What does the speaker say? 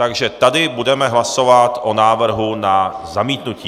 Takže tady budeme hlasovat o návrhu na zamítnutí.